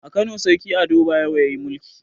A kano sarki ado bayero yayi mulki